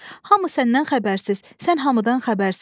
Hamı səndən xəbərsiz, sən hamıdan xəbərsiz.